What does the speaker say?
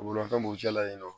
Bolimafɛn b'u cɛla yen nɔ